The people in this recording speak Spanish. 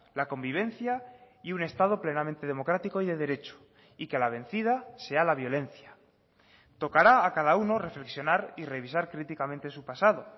la convivencia y un estado plenamente democrático y de derecho y que la vencida sea la violencia tocará a cada uno reflexionar y revisar críticamente su pasado